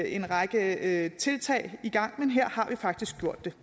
en række tiltag i gang men her har vi faktisk gjort det